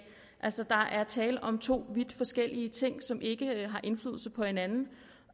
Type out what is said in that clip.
altså der er tale om to vidt forskellige ting som ikke har indflydelse på hinanden